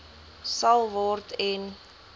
sal word en